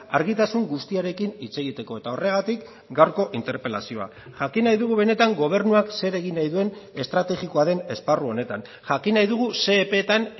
argitasun guztiarekin hitz egiteko eta horregatik gaurko interpelazioa jakin nahi dugu benetan gobernuak zer egin nahi duen estrategikoa den esparru honetan jakin nahi dugu ze epeetan